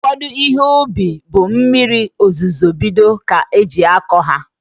Ụfọdụ Ihe ubi bụ mmiri ozuzo bido ka eji akọ ya